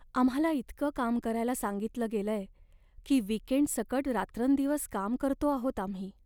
आम्हाला इतकं काम करायला सांगितलं गेलंय की वीकेंडसकट रात्रंदिवस काम करतो आहोत आम्ही.